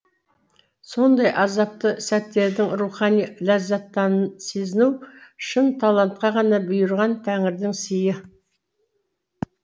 сондай азапты сәттердің рухани ләззатын сезіну шын талантқа ғана бұйырған тәңірдің сыйы